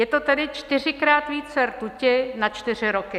Je to tedy čtyřikrát více rtuti na čtyři roky.